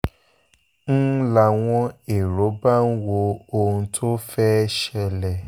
n láwọn èrò bá ń wo ohun tó fẹ́ẹ́ ṣẹlẹ̀